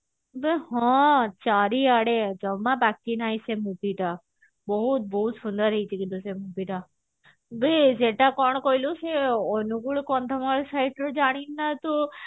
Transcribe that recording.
ଆଲୋ ହଁ ଚାରିଆଡେ ଜମା ବାକି ନାହି ସେ movie ର ବହୁତ ବହୁତ ସୁନ୍ଦର ହେଇଛି କିନ୍ତୁ ସେ movie ଟା ବେ ସେଟା କଣ କହିଲୁ ଅନୁଗୁଳ କନ୍ଧମାଳ site ର ଜାଣିନୁ ନା ତୁ